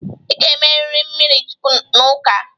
Ị ga-emeriri mmirichukwu n'ụka.